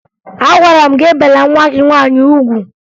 Agwara m gị ebela nwa gị nwaanyị ugwu!